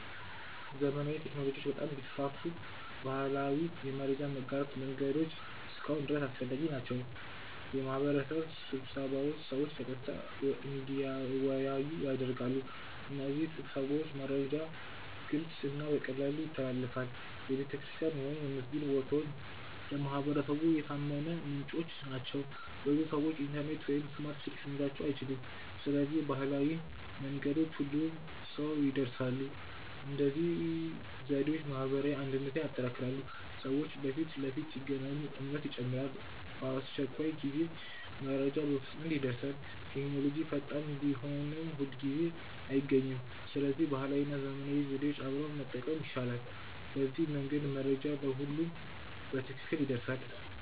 ዘመናዊ ቴክኖሎጂዎች በጣም ቢስፋፉም ባህላዊ የመረጃ ማጋራት መንገዶች እስካሁን ድረስ አስፈላጊ ናቸው። የማህበረሰብ ስብሰባዎች ሰዎችን በቀጥታ እንዲወያዩ ያደርጋሉ። በእነዚህ ስብሰባዎች መረጃ ግልጽ እና በቀላሉ ይተላለፋል። የቤተክርስቲያን ወይም የመስጊድ ማስታወቂያዎች ለማህበረሰቡ የታመነ ምንጭ ናቸው። ብዙ ሰዎች ኢንተርኔት ወይም ስማርት ስልክ ሊኖራቸው አይችልም። ስለዚህ ባህላዊ መንገዶች ሁሉንም ሰው ይድረሳሉ። እነዚህ ዘዴዎች ማህበራዊ አንድነትን ያጠናክራሉ። ሰዎች በፊት ለፊት ሲገናኙ እምነት ይጨምራል። በአስቸኳይ ጊዜም መረጃ በፍጥነት ይደርሳል። ቴክኖሎጂ ፈጣን ቢሆንም ሁልጊዜ አይገኝም። ስለዚህ ባህላዊ እና ዘመናዊ ዘዴዎች አብረው መጠቀም ይሻላል። በዚህ መንገድ መረጃ ለሁሉም በትክክል ይደርሳል።